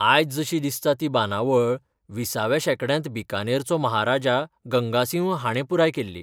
आयज जशी दिसता ती बांदावळ विसाव्या शेंकड्यांत बीकानेरचो महाराजा गंगासिंह हाणें पुराय केल्ली.